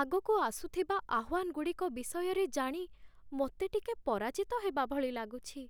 ଆଗକୁ ଆସୁଥିବା ଆହ୍ୱାନଗୁଡ଼ିକ ବିଷୟରେ ଜାଣି ମୋତେ ଟିକେ ପରାଜିତ ହେବାଭଳି ଲାଗୁଛି।